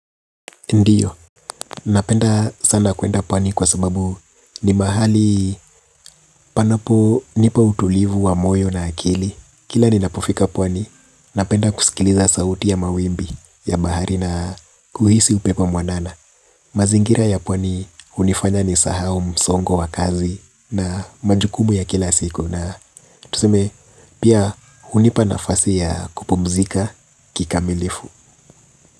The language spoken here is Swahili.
Ndiyo, napenda sana kwenda pwani kwa sababu ni mahali panapo nipa utulivu wa moyo na akili. Kila ninapofika pwani, napenda kusikiliza sauti ya mawimbi ya bahari na kuhisi upepo mwanana. Mazingira ya pwani hunifanya nisahau msongo wa kazi na majukumu ya kila siku. Na tuseme, pia hunipa nafasi ya kupumzika kikamilifu.